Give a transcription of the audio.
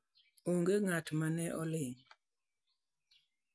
#Onge Ng'at ma ne Oling'.